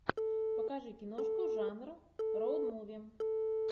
покажи киношку жанра роад муви